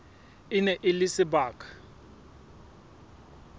e ne e le sebaka